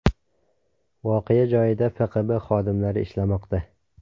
Voqea joyida FQB xodimlari ishlamoqda.